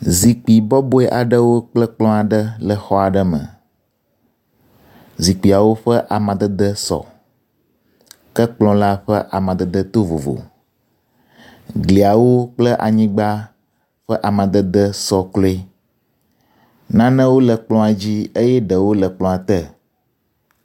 Zikpui bɔbɔe aɖewo kple kplɔ aɖe le xɔ aɖe me. Zikpuiawo ƒe amadede sɔ ke kplɔ la ƒe amadede to vovo. Gliawo kle anyigba ƒe amadede sɔ kloe. Nanewo le kplɔ dzi eye ɖewo le kplɔa te.